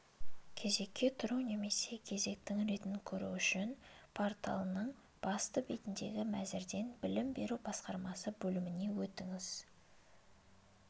кезекке тұру немесе кезектің ретін көру үшін порталының басты бетіндегі мәзірден білім беру басқармасы бөліміне өтіңіз